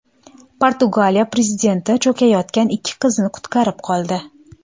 Portugaliya prezidenti cho‘kayotgan ikki qizni qutqarib qoldi.